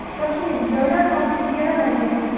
Shoshiling, joylar soni chegaralangan!